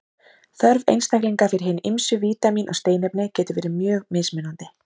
Þörf einstaklinga fyrir hin ýmsu vítamín og steinefni getur verið mjög mismunandi.